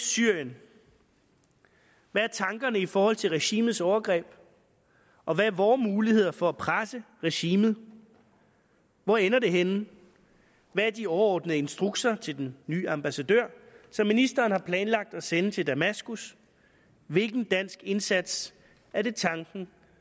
syrien hvad er tankerne i forhold til regimets overgreb og hvad er vore muligheder for at presse regimet hvor ender det henne hvad er de overordnede instrukser til den nye ambassadør som ministeren har planlagt at sende til damaskus hvilken dansk indsats er det tanken